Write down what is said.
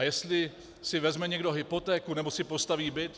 A jestli si vezme někdo hypotéku nebo si postaví byt...